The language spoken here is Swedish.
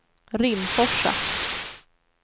Rimforsa